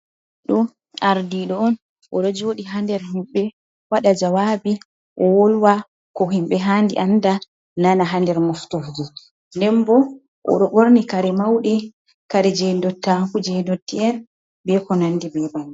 Ɗo, ardiɗo on oɗo joɗi ha nder himɓe waɗa jawabi o wolwa ko himɓe handi anda nana ha nder moftorde, nden bo odo ɓorni kare mauɗe kare je ndottaku jai ndoti'en be ko nandi be bannin.